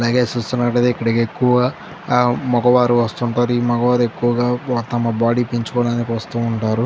అలాగే చూస్తున్నటైతే ఇక్కడికి ఎక్కువ మగవారు వస్తూ ఉంటారు ఈ మగవారు ఎక్కువగా తమ బాడీ ని పెంచుకోవడానికి వస్తూ ఉంటారు.